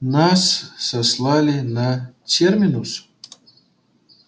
нас сослали на терминус